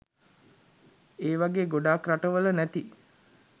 ඒවගේ ගොඩක් රටවල නැති